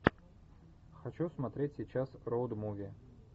хочу смотреть сейчас роуд муви